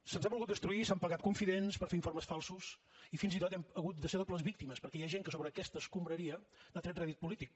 se’ns ha volgut destruir i s’han pagat confidents per fer informes falsos i fins i tot hem hagut de ser dobles víctimes perquè hi ha gent que d’aquestes escombraries n’ha tret rèdit polític